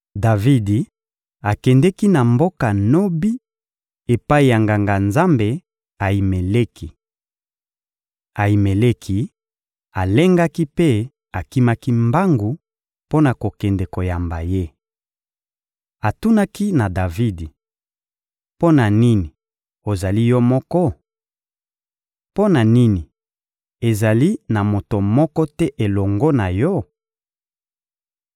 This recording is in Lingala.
Davidi akendeki na mboka Nobi epai ya Nganga-Nzambe Ayimeleki. Ayimeleki alengaki mpe akimaki mbangu mpo na kokende koyamba ye. Atunaki na Davidi: — Mpo na nini ozali yo moko? Mpo na nini ezali na moto moko te elongo na yo?